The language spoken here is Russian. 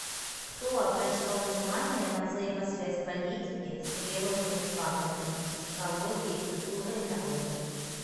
кто обращал внимание на взаимосвязь политики с природными факторами психологией культурой народов